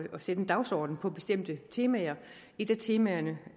at sætte en dagsorden på bestemte temaer et af temaerne